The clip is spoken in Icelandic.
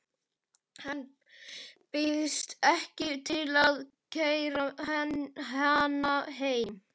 Hann býðst ekki til að keyra hana heim.